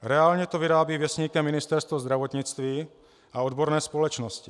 Reálně to vyrábí Věstníkem Ministerstvo zdravotnictví a odborné společnosti.